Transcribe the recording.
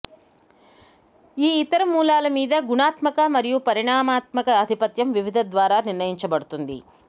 ఈ ఇతర మూలాలు మీద గుణాత్మక మరియు పరిమాణాత్మక ఆధిపత్యం వివిధ ద్వారా నిర్ణయించబడుతుంది